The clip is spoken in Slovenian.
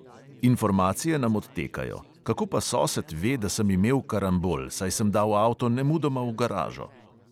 "Informacije nam odtekajo! kako pa sosed ve, da sem imel karambol, saj sem dal avto nemudoma v garažo?"